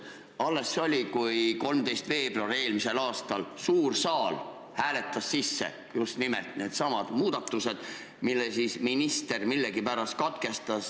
Alles see oli – 13. veebruaril eelmisel aastal –, kui suur saal hääletas sisse just needsamad muudatused, mille minister millegipärast katkestas.